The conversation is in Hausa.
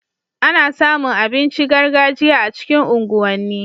Ana samu abincin gargajiya a cikin unguwan ni